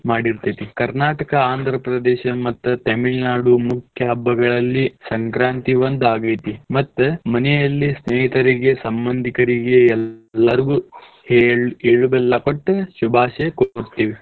ಮಾಡಿರ್ತೇತಿ Karnataka Andhra Pradesh ಮತ್ Tamilnadu ಮುಖ್ಯ ಹಬ್ಬಗಳಲ್ಲಿ ಸಂಕ್ರಾಂತಿ ಒಂದ್ ಆಗೈತಿ ಮತ್ತ ಮನೆಯಲ್ಲಿ ಸ್ನೇಹಿತರಿಗೆ ಸಮ್ಮಂದಿಕರಿಗೆ ಎಲ್ಲಾರ್ಗು ಎಳ್ಳು ಬೆಲ್ಲ ಕೊಟ್ಟ್ ಶುಭಾಶಯ ಕೊರ್ತೇವಿ.